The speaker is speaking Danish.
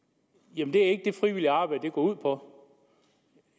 jamen det er ikke det frivilligt arbejde går ud på